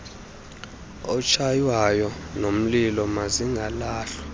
otshaywayo nomlilo mazingalahlwa